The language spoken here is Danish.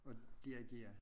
At dirigere